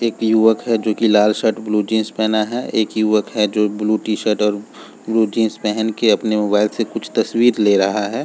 एक युवक है जो की लाल शर्ट और ब्लू जींस पहना है एक युवक है जो ब्लू शर्ट और ब्लू जींस पहन के अपनी मोबाइल से कुछ तस्वीर ले रहा है।